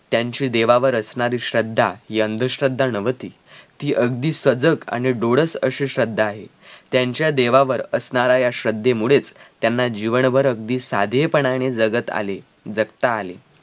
त्यांची देवावर असणारी श्रद्धा हि अंधश्रद्धा नव्हती ती अगदी सजक आणि डोळस अशी श्रद्धा आहे त्यांच्या देवावर असणारा या श्रद्धेमुळेच त्यांना जीवनभर अगदी साधेपणाने जगत आले जगता आले.